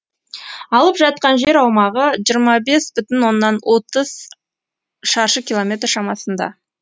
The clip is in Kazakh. алып жатқан жер аумағы жиырма бес бүтін отыз шаршы километр шамасында